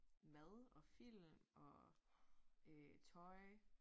Mad og film og øh tøj